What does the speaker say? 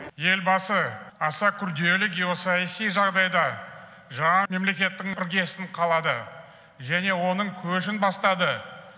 елбасы аса күрделі геосаяси жағдайда жаңа мемлекеттің іргесін қалады және оның көшін бастады